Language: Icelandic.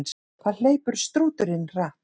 Hvað hleypur strúturinn hratt?